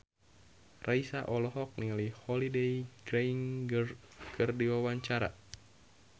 Raisa olohok ningali Holliday Grainger keur diwawancara